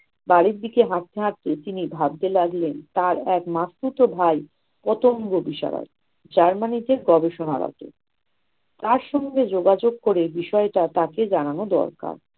বাড়ির দিকে হাটতে হাটতে তিনি ভাবতে লাগলেন, তার এক মাসতুতো ভাই কত বড় germany তে গবেষণা আছে। তার সঙ্গে যোগাযোগ করে বিষয়টা তাকে জানানো দরকার।